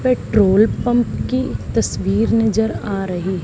petrol pump की तस्वीर नजर आ रही--